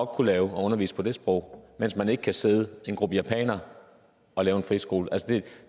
kunne undervise på de sprog mens man ikke kan sidde en gruppe japanere og lave en friskole